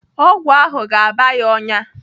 Ọgwụ ahụ ga-aba ya ọnyá.